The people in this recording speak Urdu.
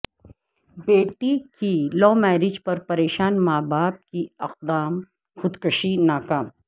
بیٹی کی لومیاریج پر پریشان ماں باپ کی اقدام خودکشی ناکام